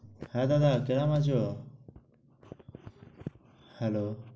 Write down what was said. হ্যাঁ দাদা কিমন আছ? hello